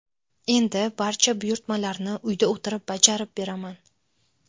Endi barcha buyurtmalarni uyda o‘tirib bajarib beraman.